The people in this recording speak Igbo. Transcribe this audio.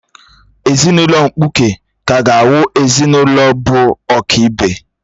Ezinụlọ mkpuke kaa ga-awu ezinụlọ bụ ọ̀kị́be